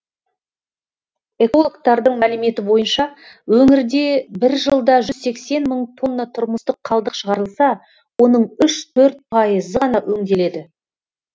экологтардың мәліметі бойынша өңірде бір жылда жүз сексен мың тонна тұрмыстық қалдық шығарылса оның үш төрт пайызы ғана өңделеді